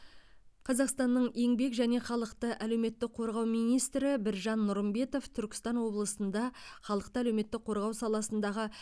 қазақстанның еңбек және халықты әлеуметтік қорғау министрі біржан нұрымбетов түркістан облысында халықты әлеуметтік қорғау саласындағы